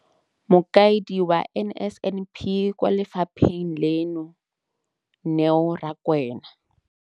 Mokaedi wa NSNP kwa lefapheng leno, Neo Rakwena.